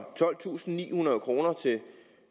tolvtusinde og nihundrede kroner til